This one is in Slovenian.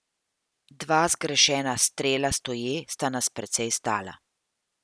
Dva zgrešena strela stoje sta nas precej stala.